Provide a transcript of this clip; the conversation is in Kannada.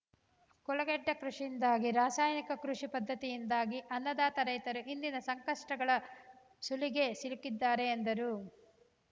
ಕುಲಗೆಟ್ಟಕೃಷಿಯಿಂದಾಗಿ ರಾಸಾಯನಿಕ ಕೃಷಿ ಪದ್ಧತಿಯಿಂದಾಗಿ ಅನ್ನದಾತ ರೈತರು ಇಂದಿನ ಸಂಕಷ್ಟಗಳ ಸುಳಿಗೆ ಸಿಲುಕಿದ್ದಾರೆ ಎಂದರು